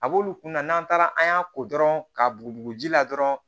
A b'olu kunna n'an taara an y'a ko dɔrɔn ka bugu ji la dɔrɔn